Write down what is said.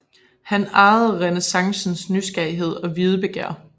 Han ejede renæssancens nysgerrighed og videbegær